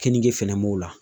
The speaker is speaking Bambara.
Kenige fɛnɛ m'o la